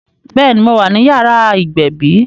Béèni, mo wà ní yàrá ìgbẹ̀bí